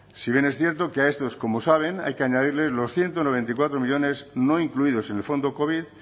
si bien es cierto que a estos como saben hay que añadirles los ciento noventa y cuatro millónes no incluidos en el fondo covid